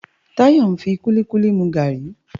Tayo n fi kúlikúli mú gári